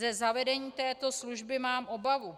Ze zavedení této služby mám obavu.